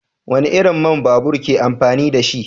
Wani irin man babur ke amfani da shi?